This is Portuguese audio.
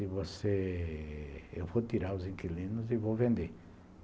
E você... Eu vou tirar os inquilinos e vou vender.